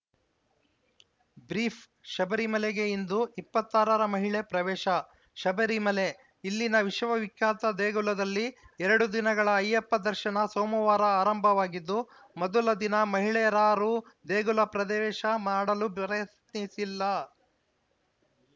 brief ಶಬರಿಮಲೆಗೆ ಇಂದು ಇಪ್ಪತ್ತ್ ಆರ ರ ಮಹಿಳೆ ಪ್ರವೇಶ ಶಬರಿಮಲೆ ಇಲ್ಲಿನ ವಿಶ್ವವಿಖ್ಯಾತ ದೇಗುಲದಲ್ಲಿ ಎರಡು ದಿನಗಳ ಅಯ್ಯಪ್ಪ ದರ್ಶನ ಸೋಮವಾರ ಆರಂಭವಾಗಿದ್ದು ಮೊದಲ ದಿನ ಮಹಿಳೆಯರಾರೂ ದೇಗುಲ ಪ್ರದೇಶ ಮಾಡಲು ದೋಯತ್ನಿಸಿಲ್ಲ